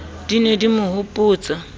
di ne di mo hopotsa